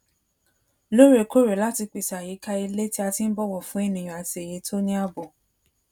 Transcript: lóòrèkóòrè láti pèsè àyíká ilé tí a ti n bọwọ fún ènìyàn àti èyí tó ní ààbò